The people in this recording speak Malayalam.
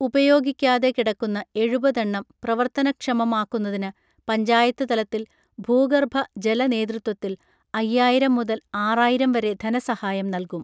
ഉപയോഗിക്കാതെ കിടക്കുന്ന എഴുപതെണ്ണം പ്രവർത്തന ക്ഷമമാക്കുന്നതിനു പഞ്ചായത്ത് തലത്തിൽ ഭൂഗർഭ ജല നേതൃത്വത്തിൽ അയ്യായിരം മുതൽ ആറായിരം വരെ ധനസഹായം നൽകും